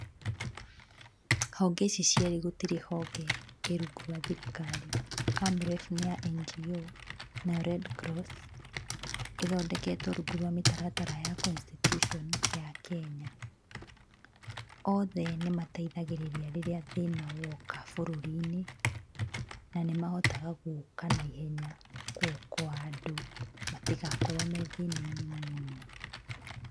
Honge ici cierĩ gũtirĩ honge ĩ rungu rwa thirikari. AMREF nĩ ya NGO nayo Redcross ĩthondeketwo rungu rwa mĩtaratara ya constitution ya Kenya. Othe nĩ mateithagĩrĩria rĩrĩa thĩna woka bũrũri-inĩ na nĩ mahotaga gũka naihenya kũ handle matigakorwo me thĩna-inĩ mũno.